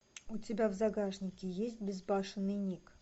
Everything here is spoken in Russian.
у тебя в загашнике есть безбашенный ник